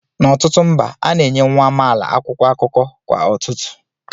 N'ọtụtụ mba, a na-enye nwa amaala akwụkwọ akụkọ kwa ụtụtụ